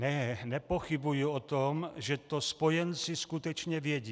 Ne, nepochybuji o tom, že to spojenci skutečně věcí.